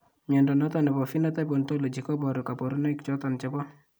Mnyondo noton nebo Phenotype Ontology koboru kabarunaik choton chebo